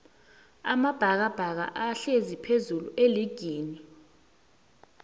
amabhakabhaka ahlezi phezullu eligini